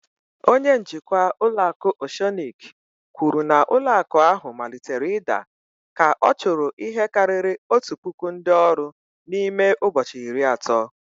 Oceanic Bank manager said that the bank starting falling after dismissing over one thousand staffs within thirty days.